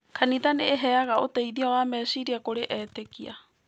Kanitha nĩ iheaga ũteithio wa meciria kũrĩ etĩkia.